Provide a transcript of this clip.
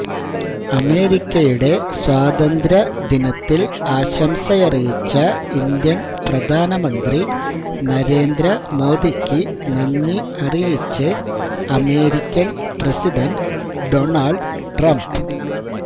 അമേരിക്കയുടെ സ്വാതന്ത്ര്യ ദിനത്തിൽ ആശംസയറിയിച്ച ഇന്ത്യൻ പ്രധാന മന്ത്രി നരേന്ദ്ര മോദിക്ക് നന്ദി അറിയിച്ച് അമേരിക്കൻ പ്രസിഡന്റ് ഡൊണൾഡ് ട്രംപ്